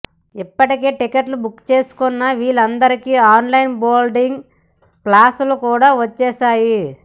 ఇప్పటికే టికెట్లు బుక్ చేసుకున్న వీళ్లందరికీ ఆన్లైన్ బోర్డింగ్ పాస్లు కూడా వచ్చేశాయి